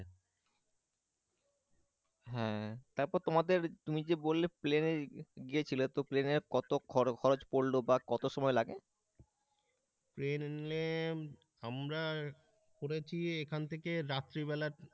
হ্যাঁ তারপর তোমাদের তুমি যে বললে প্লেনে গিয়েছিল তো প্লেনের কত খরচ পরলো বা কত সময় লাগে প্ল্যান আমরা করেছি এখান থেকে রাত্রিবেলা।